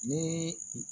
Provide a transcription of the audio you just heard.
Ni